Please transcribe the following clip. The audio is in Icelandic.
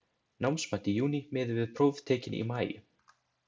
Námsmat í júní miði við próf tekin í maí.